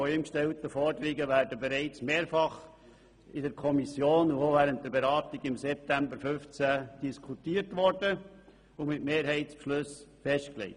Alle von ihm gestellten Forderungen wurden bereits mehrfach in der Kommission sowie während der Beratung im September 2015 diskutiert, und es wurde darüber beschlossen.